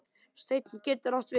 Steinn getur átt við